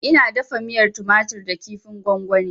Ina dafa miyan tumatur da kifin gwagwani